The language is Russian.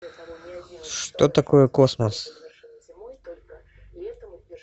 что такое космос